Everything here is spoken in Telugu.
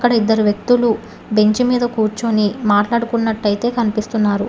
అక్కడ ఇద్దరు వ్యక్తులు బెంచ్ మీద కూర్చొని మాట్లాడుకున్నట్టైతే కన్పిస్తున్నారు.